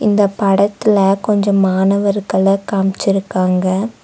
இந்த படத்துல கொஞ்சம் மாணவர்கள காமிச்சிருக்காங்க.